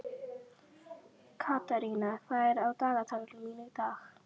Katharina, hvað er á dagatalinu mínu í dag?